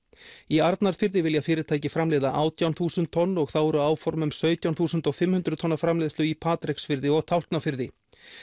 í Arnarfirði vilja fyrirtækiframleiða átján þúsund tonn og þá eru áform um sautján þúsund og fimm hundruð tonna framleiðslu í Patreksfirði og Tálknafirði